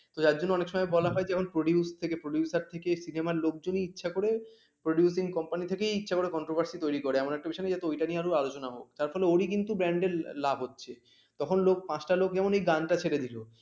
ত যার জন্য অনেক সময় বলা হয় যেমন produce থেকে producer থেকে cinema লোকজনই ইচ্ছা করে producing company থেকেই ইচ্ছা করে controversy তৈরি করে এমন একটা বিষয় নিয়ে যাতে ওইটা নিয়েই আলোচনা হোক তার ফলে ওরি কিন্তু band লাভ হচ্ছে তখন লোক পাঁচটা লোক যেমন গানটা ছেড়ে দিল